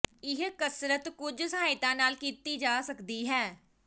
ਇਹ ਕਸਰਤ ਕੁਝ ਸਹਾਇਤਾ ਨਾਲ ਕੀਤੀ ਜਾ ਸਕਦੀ ਹੈ